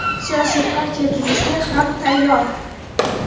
siyosiy partiya tuzishga ham tayyor.